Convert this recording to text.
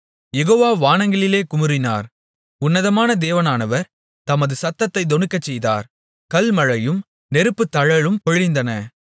யெகோவா வானங்களிலே குமுறினார் உன்னதமான தேவனானவர் தமது சத்தத்தைத் தொனிக்கச்செய்தார் கல்மழையும் நெருப்புத்தழலும் பொழிந்தன